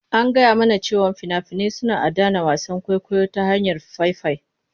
An gaya mana cewa fina-finai suna adana wasan kwaikwayo ta hanyar faifai.